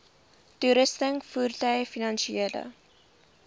toerusting voertuie finansiële